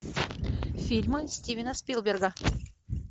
фильмы стивена спилберга